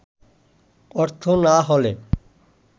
অর্থ না হলে